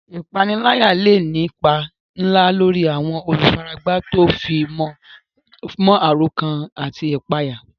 Ìpániláyà lè ní ipa ńlá lórí àwọn olùfaragbá tó fi mọ́ àròkán àti ìpayà.